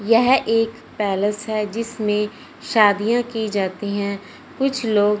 यह एक पैलेस है जिसमें शादियां की जाती हैं कुछ लोग--